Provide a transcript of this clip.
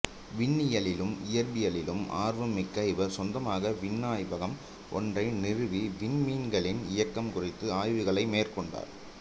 விண்ணியலிலும் இயற்பியலிலும் ஆர்வம் மிக்க இவர் சொந்தமாக விண்ணாய்வகம் ஒன்றை நிறுவி விண்மீன்களின் இயக்கம் குறித்த ஆய்வுகளை மேற்கொண்டார்